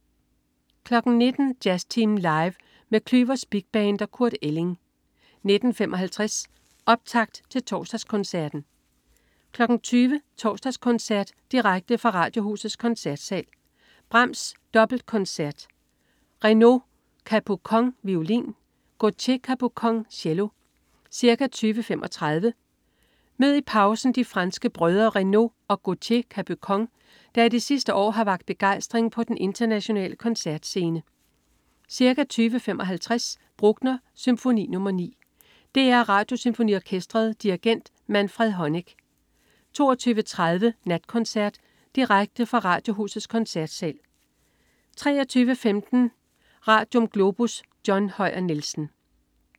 19.00 Jazztimen Live. Med Klüvers Big Band & Kurt Elling 19.55 Optakt til Torsdagskoncerten 20.00 Torsdagskoncert. Direkte fra Radiohusets Koncertsal. Brahms: Dobbeltkoncert. Renaud Capucon, violin. Gautier Capucon, cello. Ca, 20.35 Mød i pausen de franske brødre Renaud og Gautier Capucon, der i de sidste år har vakt begejstring på den internationale koncertscene. Ca. 20.55 Bruckner: Symfoni nr. 9. DR Radiosymfoniorkestret. Dirigent: Manfred Honeck 22.30 Natkoncert. Direkte fra Radiohusets Koncertsal 23.15 Radium. Globus. John Høyer Nielsen